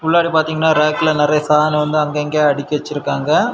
உள்ளார பாத்தீங்கன்னா ரேக்ல நறைய சாதனங்க அங்க இங்க அடுக்கி வச்சிருக்காங்க.